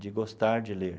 de gostar de ler.